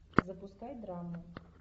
запускай драму